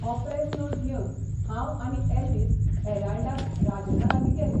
हो press note घेवन हांव आनी एल्वीस 'हॅराल्डां'त राजनालागीं गेले.